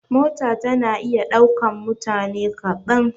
Mota tana iya ɗaukan mutane kaɗan.